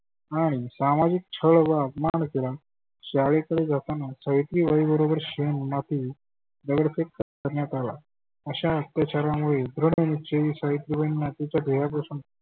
आणि सामाजीक छळ व आपमान केला. शाळेकडे जातना सावित्रीबाई बरोबर शेन माती दगड फेक करण्यात आला. अशा अत्याचारामुळे दृढ निश्चयाने सावित्रीबाईंंना तीच्या ध्येया पासून